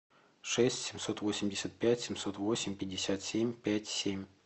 шесть семьсот восемьдесят пять семьсот восемь пятьдесят семь пять семь